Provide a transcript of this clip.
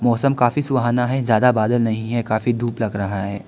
मौसम काफी सुहाना है। ज्यादा बादल नहीं है काफी धूप लग रहा है।